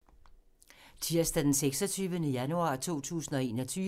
Tirsdag d. 26. januar 2021